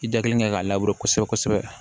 I da kelen kɛ k'a labure kosɛbɛ kosɛbɛ